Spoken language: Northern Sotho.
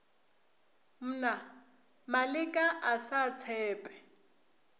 mna maleka a sa tshepe